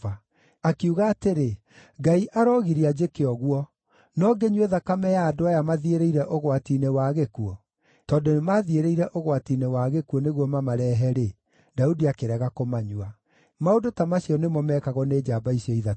Akiuga atĩrĩ, “Ngai arogiria njĩke ũguo! No ngĩnyue thakame ya andũ aya mathiĩrĩire ũgwati-inĩ wa gĩkuũ?” Tondũ nĩmathiĩrĩire ũgwati-inĩ wa gĩkuũ nĩguo mamarehe-rĩ, Daudi akĩrega kũmanyua. Maũndũ ta macio nĩmo meekagwo nĩ njamba icio ithatũ.